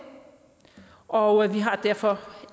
og vi har derfor